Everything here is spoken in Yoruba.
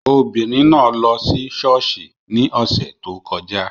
Obìnrin náà lọ sí ṣọ́ọ̀ṣì ní ọ̀sẹ̀ tó kọjá